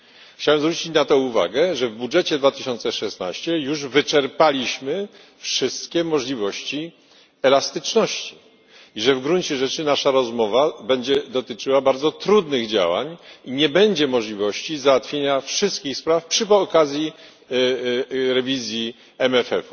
Chciałem zwrócić uwagę, że w budżecie na rok 2016 wyczerpaliśmy już wszystkie możliwości elastyczności i że w gruncie rzeczy nasza rozmowa będzie dotyczyła bardzo trudnych działań, i nie będzie możliwości załatwienia wszystkich spraw przy okazji rewizji WRF.